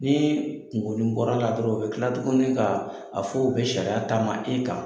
Ni kungoni bɔra la dɔrɔn, u bɛ kila tuguni ka a fɔ u bɛ sariya taama e kan.